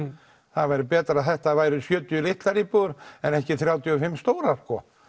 það væri betra ef þetta væri sjötíu litlar íbúðir en ekki þrjátíu og fimm stórar